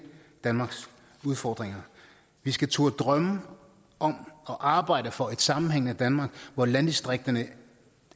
danmarks udfordringer vi skal turde drømme om og arbejde for et sammenhængende danmark hvor landdistrikterne